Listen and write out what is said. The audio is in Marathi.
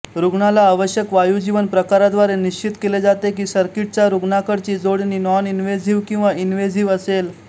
रूग्णाला आवश्यक वायुवीजन प्रकाराद्वारे निश्चित केले जाते की सर्किटचा रुग्णाकडची जोडणी नॉनइन्वेझिव्ह किंवा इन्वेझिव्ह असेल